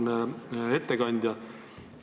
Auväärne ettekandja!